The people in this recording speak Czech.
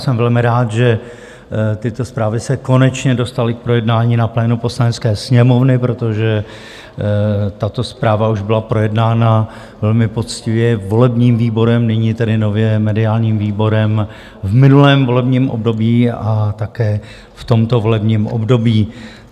Jsem velmi rád, že tyto zprávy se konečně dostaly k projednání na plénu Poslanecké sněmovny, protože tato zpráva už byla projednána velmi poctivě volebním výborem, nyní tedy nově mediálním výborem, v minulém volebním období a také v tomto volebním období.